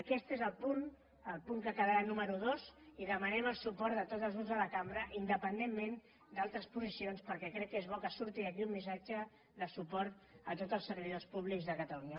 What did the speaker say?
aquest és el punt que ha quedat número dos i hi demanem el suport de tots els grups de la cambra independentment d’altres posicions perquè crec que és bo que surti d’aquí un missatge de suport a tots els servidors públics de catalunya